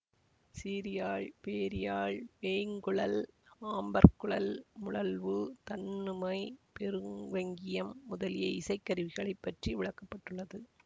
சீரியாழ் பேரியாழ் வேய்ங்குழல் ஆம்பற்குழல் முழவு தண்ணுமை பெருவங்கியம் முதலிய இசை கருவிகளைப் பற்றி விளக்க பட்டுள்ளது